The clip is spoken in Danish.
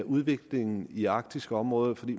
udviklingen i det arktiske område for vi